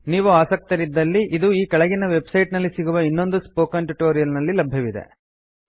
ನೀವು ಆಸಕ್ತರಿದ್ದಲ್ಲಿ ಇದು ಈ ಕೆಳಗಿನ ವೆಬ್ಸೈಟ್ ನಲ್ಲಿ ಸಿಗುವ ಇನ್ನೊಂದು ಸ್ಪೋಕನ್ ಟ್ಯುಟೋರಿಯಲ್ ನಲ್ಲಿ ಲಭ್ಯವಿದೆ